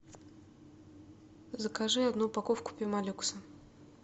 закажи одну упаковку пемолюкса